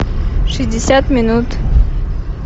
шестьдесят минут